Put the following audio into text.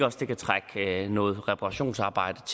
også kan trække noget reparationsarbejde